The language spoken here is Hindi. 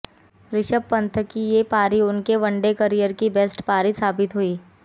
रिषभ पंत की ये पारी उनके वनडे कॅरियर की बेस्ट पारी साबित हुई